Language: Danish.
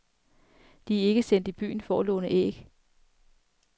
De er ikke sendt i byen for at låne æg.